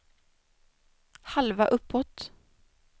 halva uppåt